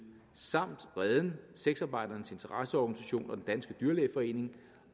samt reden sexarbejdernes interesseorganisation og den danske dyrlægeforening